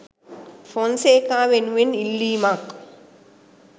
ෆොන්සේකා වෙනුවෙන් ඉල්ලීමක්